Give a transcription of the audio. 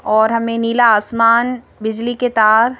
और हमें नीला आसमान बिजली के तार--